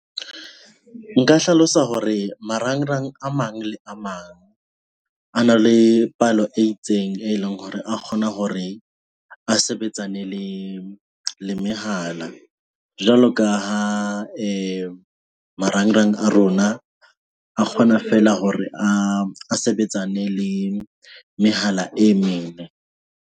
Nka hlalosa hore marangrang a mang le a mang a na le palo e itseng e leng hore a kgona hore a sebetsane le le mehala. Jwalo ka ha marangrang a rona a, a kgona feela hore a sebetsane le mehala e meng.